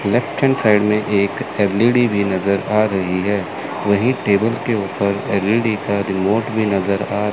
left hand side में एक LED भी नजर आ रही है वहीं टेबल के ऊपर एल_ई_डी का रिमोट भी नजर आ--